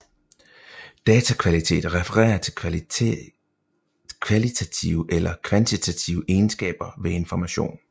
Datakvalitet refererer til kvalitative eller kvantitative egenskaber ved information